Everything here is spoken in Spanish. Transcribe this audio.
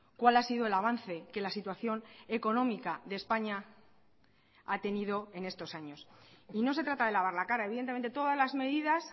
cuál ha sido el avance que la situación económica de españa ha tenido en estos años y no se trata de lavar la cara evidentemente todas las medidas